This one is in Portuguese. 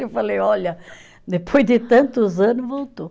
Eu falei, olha, depois de tantos anos voltou.